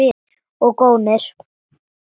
Og gónir.